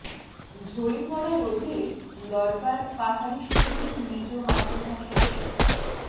ঝরে পড়া রোধে দরকার পাহাড়ি শিশুদের নিজ মাতৃভাষায় শিক্ষা